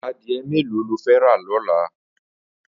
Adiẹ méló ló fẹ̀ rà lọlá?